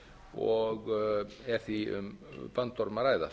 og er því um bandorm að ræða